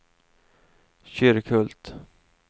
Kyrkhult